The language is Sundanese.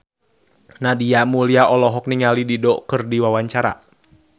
Nadia Mulya olohok ningali Dido keur diwawancara